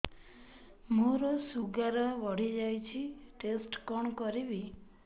ମୋର ଶୁଗାର ବଢିଯାଇଛି ଟେଷ୍ଟ କଣ କରିବି